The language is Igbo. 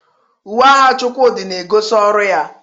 Uwe agha Chukwudi na-egosi ọrụ ya.